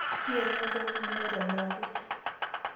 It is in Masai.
iela enkomom ino aitobirake.